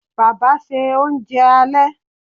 baba se ounjẹ ale?